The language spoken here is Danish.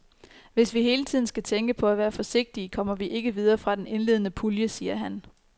Hvis vi hele tiden skal tænke på at være forsigtige, kommer vi ikke videre fra den indledende pulje, siger han.